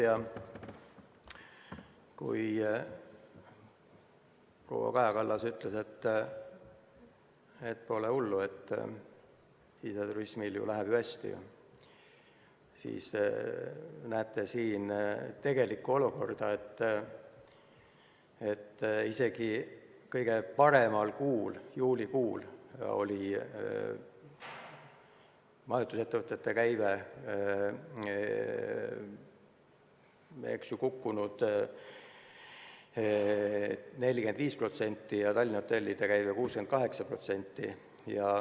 Ja kui proua Kaja Kallas ütles, et pole hullu, siseturismil läheb ju hästi, siis siin näete tegelikku olukorda: isegi kõige paremal kuul, juulikuul oli majutusettevõtete käive kukkunud 45% ja Tallinna hotellide käive 68%.